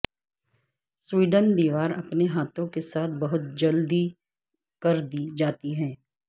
Sweden دیوار اپنے ہاتھوں کے ساتھ بہت جلدی کردی جاتی ہے